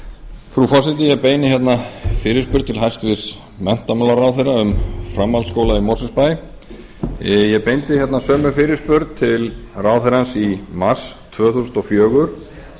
frú forseti ég beini fyrirspurn til hæstvirts menntamálaráðherra um framhaldsskóla í mosfellsbæ ég beindi sömu fyrirspurn til ráðherrans í mars tvö þúsund og fjögur